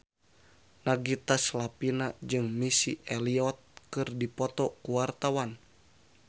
Nagita Slavina jeung Missy Elliott keur dipoto ku wartawan